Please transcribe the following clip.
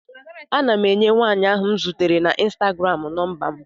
Ana m enye nwaanyị ahụ m zutere na ịnstagram nọmba m.